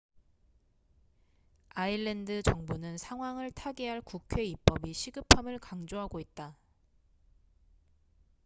아일랜드 정부는 상황을 타개할 국회 입법이 시급함을 강조하고 있다